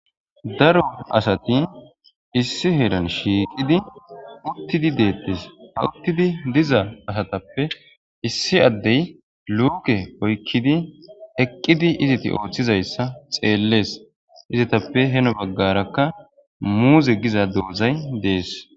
Daro asati issi heran shiiqidi uttidi deettes hawuttidi diza asatappe issi addey luuke oykkidi eqqidi iziti ooththizayssa xeellees izitappe heno baggarakka muuze giza doozay dees